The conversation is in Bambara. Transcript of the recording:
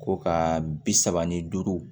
Ko ka bi saba ni duuru